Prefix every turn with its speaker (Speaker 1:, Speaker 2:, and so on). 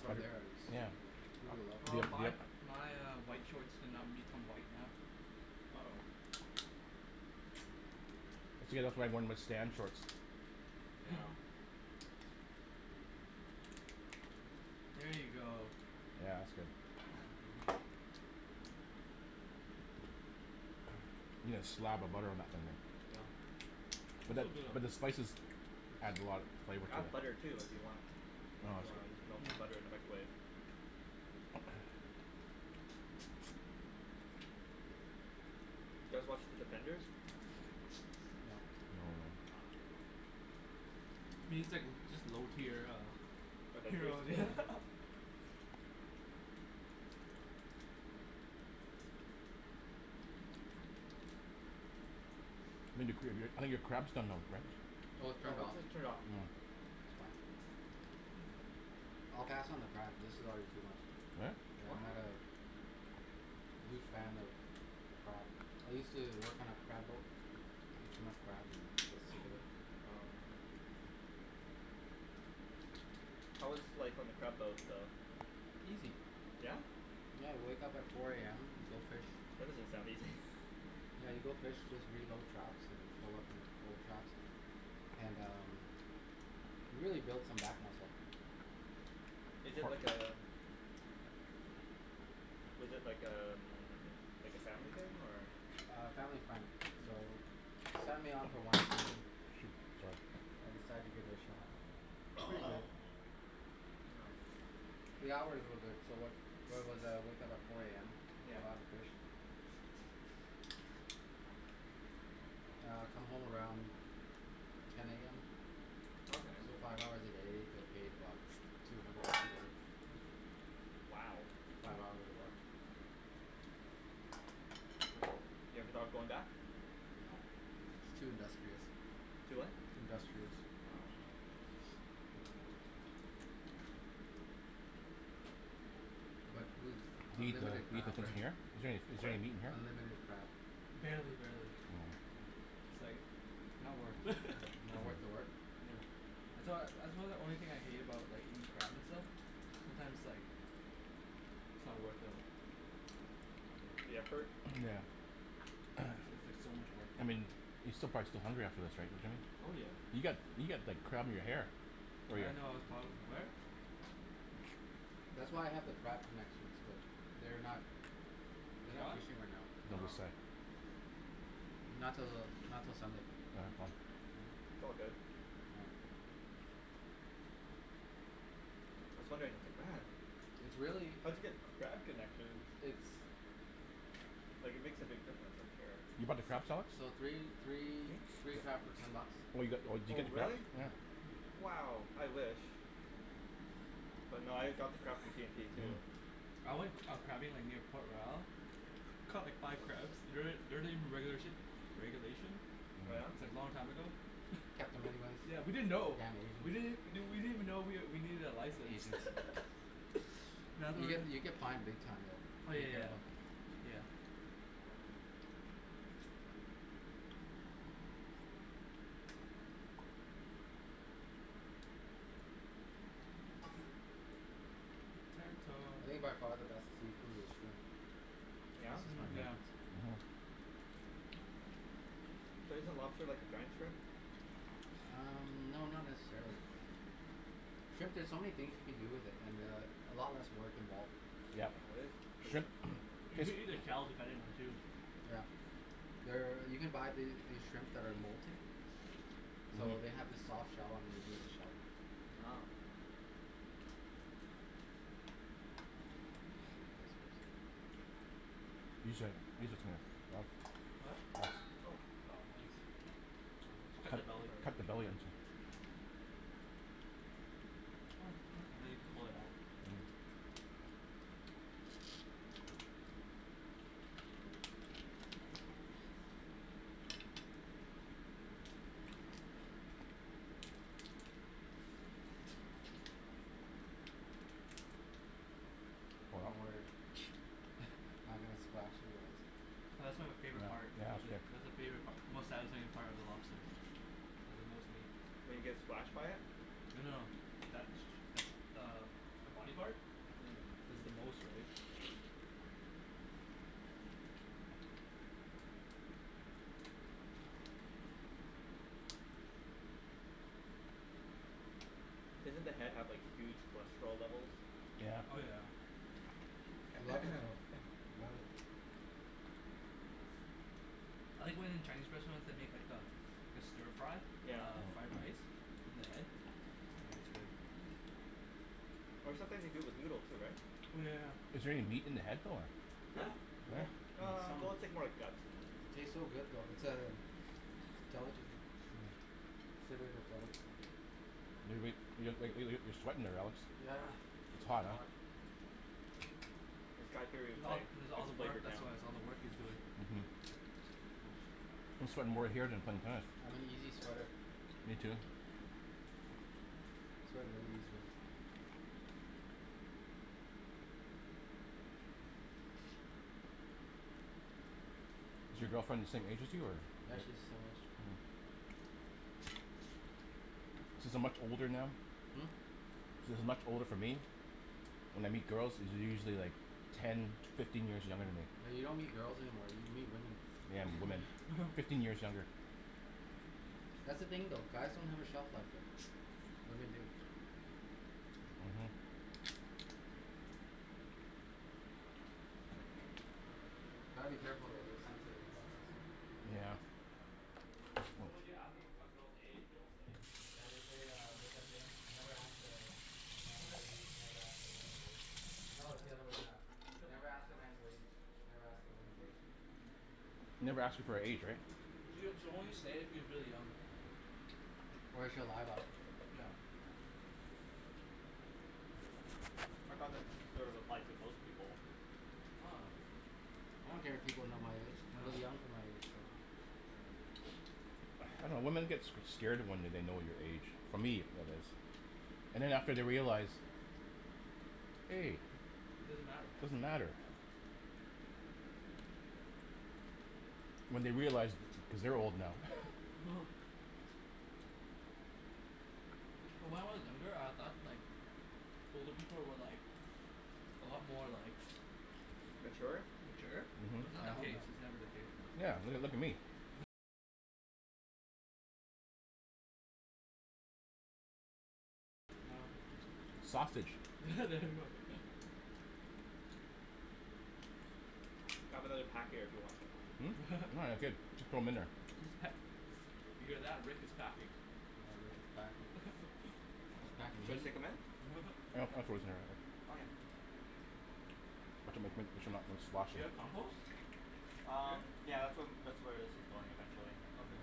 Speaker 1: from there I just,
Speaker 2: yeah,
Speaker 1: like we have a lot of
Speaker 3: Well
Speaker 1: kids
Speaker 3: my uh
Speaker 2: yeah.
Speaker 3: my uh white shorts did not become white now.
Speaker 4: Oh. Yeah.
Speaker 3: Here you go.
Speaker 2: Yeah that's good. You gotta slab the butter on that thing
Speaker 3: Oh. But
Speaker 2: but
Speaker 3: it's
Speaker 2: the
Speaker 3: still good
Speaker 2: but the spices
Speaker 3: though.
Speaker 2: adds a lot of flavor
Speaker 4: I have butter
Speaker 2: to
Speaker 4: too
Speaker 2: it.
Speaker 4: if you want.
Speaker 2: No
Speaker 4: If you wanna
Speaker 2: it's
Speaker 4: melt
Speaker 2: okay.
Speaker 4: some butter in the
Speaker 3: Mm.
Speaker 4: microwave. Do you guys watch The Defenders?
Speaker 1: No.
Speaker 2: No no.
Speaker 3: What do you think, just low tier uh
Speaker 4: Avengers?
Speaker 3: Heroes
Speaker 2: I think your cr- I think your crab's done now Rick.
Speaker 1: Oh it's
Speaker 4: No
Speaker 1: turned
Speaker 4: it's
Speaker 1: off.
Speaker 4: just
Speaker 1: It's
Speaker 4: turned off.
Speaker 2: Mm.
Speaker 1: fine. I'll pass on the crab, this is already too much.
Speaker 2: Really?
Speaker 4: What?
Speaker 1: I'm not a huge fan of crab. I used to work on a crab boat, ate too much crab and got sick of it.
Speaker 4: Oh. How was life on the crab boat though?
Speaker 1: Easy.
Speaker 4: Yeah?
Speaker 1: I had to wake up at four AM, go fish,
Speaker 4: That doesn't sound easy
Speaker 1: yeah you go fish, just reload traps and pull up old traps and um, you really build some back muscle.
Speaker 4: Is it like a, is it like a, like a family thing or
Speaker 1: A family friend. So, they signed me on for one season,
Speaker 2: Good job.
Speaker 1: I decided to give it a shot. Pretty good. The hours were good, so where where was I, I woke up at four AM,
Speaker 4: Yeah.
Speaker 1: caught lots of fish. I'd come home around ten AM,
Speaker 4: Okay.
Speaker 1: so five hours a day, get paid about two hundred bucks a day.
Speaker 4: Wow.
Speaker 1: Five hours of work. Yep.
Speaker 4: You ever thought of going back?
Speaker 1: No, it's too industrious.
Speaker 4: Too what?
Speaker 1: Industrious.
Speaker 4: Wow.
Speaker 1: But, we eat
Speaker 2: Is there
Speaker 1: unlimited crab right.
Speaker 2: any, is there
Speaker 4: Sorry?
Speaker 2: any meat in here?
Speaker 1: Unlimited crab.
Speaker 3: Barely. No,
Speaker 2: Mm.
Speaker 3: it's like, not worth.
Speaker 1: Not worth the work?
Speaker 3: Yeah. That's why, that's why the only thing I hate about like eating crab and stuff, sometimes like, it's not the worth the mm
Speaker 4: The effort?
Speaker 2: Yeah.
Speaker 3: It's like so much
Speaker 2: I
Speaker 3: workload.
Speaker 2: mean, you're still prob still hungry after this right Jimmy?
Speaker 3: Oh yeah.
Speaker 2: You've got, you've got like crab in your hair. Oh
Speaker 3: I
Speaker 2: yeah.
Speaker 3: didn't know I was prob- where?
Speaker 1: That's why I have the crab connections, but, they're not,
Speaker 3: Is
Speaker 1: they're
Speaker 3: it
Speaker 1: not
Speaker 3: gone?
Speaker 1: fishing right now.
Speaker 2: No,
Speaker 1: Uh
Speaker 4: Um.
Speaker 2: this side.
Speaker 1: not till, not till Sunday.
Speaker 4: It's all good. I was wondering
Speaker 1: It's really,
Speaker 4: how'd you get crab connections
Speaker 1: it's
Speaker 4: Like it makes a big difference I'm
Speaker 2: You
Speaker 4: sure.
Speaker 2: bought the crab sauce?
Speaker 1: So three, three,
Speaker 4: Hm?
Speaker 1: three crab for ten bucks.
Speaker 2: Oh you got, oh did you
Speaker 4: Oh
Speaker 2: get the crab
Speaker 4: really?
Speaker 1: Yeah.
Speaker 2: sauce.
Speaker 3: Mm.
Speaker 4: Wow, I wish. But nah I got the crab from T&T too.
Speaker 3: I went uh crabbing like near Port Royal, caught like five crabs.
Speaker 2: Don't they don't they regula- regulation?
Speaker 4: Oh yeah?
Speaker 3: It's like long time ago.
Speaker 1: Caught them anyways.
Speaker 3: Yeah,
Speaker 1: Damn
Speaker 3: we didn't know. We
Speaker 1: Asians.
Speaker 3: didn't we didn't even know we needed a license.
Speaker 1: Asians. You get you get fined big time
Speaker 3: Oh
Speaker 1: though.
Speaker 3: yeah
Speaker 1: Be
Speaker 3: yeah yeah.
Speaker 1: careful.
Speaker 3: Yeah.
Speaker 1: I think by far the best seafood is shrimp.
Speaker 4: Yeah?
Speaker 1: That's just
Speaker 3: Mm
Speaker 1: my
Speaker 3: yeah.
Speaker 1: preference.
Speaker 4: But isn't lobster like a giant shrimp?
Speaker 1: Um no not necessarily. Shrimp there's so many things you can do with it, and uh a lot less work involved.
Speaker 3: You can eat the shells depending on too.
Speaker 1: Yeah. There, you can buy these shrimp that are molting so they have the soft shell underneath the shell.
Speaker 4: Wow.
Speaker 2: Use your, use your
Speaker 3: Huh?
Speaker 4: Oh.
Speaker 3: Cut the belly.
Speaker 2: Cut the belly into it.
Speaker 3: Oh huh. Now you can pull it out.
Speaker 1: Don't worry I'm not gonna splash you guys.
Speaker 3: That's like my favorite, part, actually, that's my favori- part, most satisfying part of the lobster, like the most meat.
Speaker 4: When you get splashed by it?
Speaker 3: Well no, that's, that's uh the body part?
Speaker 4: Mhm.
Speaker 3: Cuz it's the most right.
Speaker 4: Doesn't the head have like huge cholesterol levels?
Speaker 3: Oh yeah.
Speaker 1: I love it though, I love it.
Speaker 3: I like when in Chinese restaurants, they make like a, like a stir fry,
Speaker 4: Yeah.
Speaker 3: of fried rice, in the head? It's good.
Speaker 4: Or sometimes they do it with noodle too right?
Speaker 3: Oh yeah yeah yeah.
Speaker 2: Is there any meat in the head though?
Speaker 4: Huh?
Speaker 3: Yeah!
Speaker 1: There's
Speaker 4: Ah,
Speaker 1: some,
Speaker 4: well it's like more like guts and
Speaker 1: it tastes so good though. It's uh, a delicacy. Considered a delicacy.
Speaker 2: You're sweating there Alex.
Speaker 1: Yeah.
Speaker 2: It's hot huh.
Speaker 4: It's got
Speaker 3: It's all, it's all
Speaker 4: it's
Speaker 3: the work
Speaker 4: flavored now.
Speaker 3: that's why, it's all the work he's doing.
Speaker 2: Mhm. I'm sweating more here than in tennis.
Speaker 1: I'm an easy sweater.
Speaker 2: Me too.
Speaker 1: I sweat really easy.
Speaker 2: Is your girlfriend the same age as you or?
Speaker 1: Yeah, she's the same age.
Speaker 2: Mhm. Since I'm much older now,
Speaker 1: Hm?
Speaker 2: since there's not much older for me, when I meet girls they're usually like ten, fifteen years younger than me.
Speaker 1: Yeah you don't meet girls anymore, you meet women.
Speaker 2: Yeah women, fifteen years younger.
Speaker 1: That's the thing though. Guys don't have a shelf life though. Women do.
Speaker 2: Mhm.
Speaker 1: Gotta be careful though, they're sensitive about that stuff.
Speaker 2: Yeah.
Speaker 3: Yeah. That's why when you ask, a a girl's age, they won't say.
Speaker 1: Yeah they say uh, there's that saying. Never ask a man's age, never ask a woman's wage. No it's the other way around, never ask a man's wage, never ask a woman's age.
Speaker 3: Mm.
Speaker 2: Never ask her for her age right.
Speaker 3: She'll she'll only say it if she's really young.
Speaker 1: Or she'll lie about it.
Speaker 3: Yeah.
Speaker 4: I thought that's sort of applied to most people.
Speaker 1: I don't care if people know my age, I look young for my age so
Speaker 2: I dunno, women get s- scared when they know your age, for me anyways. And after they realize, hey, it doesn't matter. When they realize, cuz they're old now
Speaker 3: When I was younger, I thought like, older people were like, a lot more like,
Speaker 4: Mature?
Speaker 3: mature, It's not the
Speaker 1: Hell
Speaker 3: case,
Speaker 1: no.
Speaker 3: it's never the case now.
Speaker 2: Sausage.
Speaker 3: There we go.
Speaker 4: I have another pack here if you want them.
Speaker 2: Hm? Oh that's good, just throw 'em in there.
Speaker 3: He's pa- did you hear that, Rick is packing.
Speaker 1: Yeah, Rick is packing. He's packing
Speaker 4: Should I
Speaker 1: heat.
Speaker 4: stick them in?
Speaker 2: I throw
Speaker 4: Okay.
Speaker 2: this in there already
Speaker 3: Do you have compost?
Speaker 4: Um,
Speaker 3: Here?
Speaker 4: yeah, that's whe- um that's where this is going eventually.
Speaker 3: Okay.